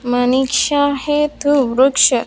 मणिक्षा है तू वृक्ष --